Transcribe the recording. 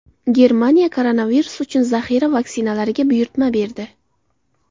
Germaniya koronavirus uchun zaxira vaksinalarga buyurtma berdi.